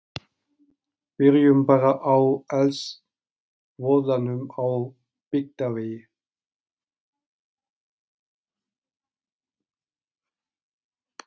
Byrjum bara á eldsvoðanum á Byggðavegi.